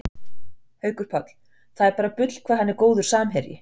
Haukur Páll, það er bara bull hvað hann er góður samherji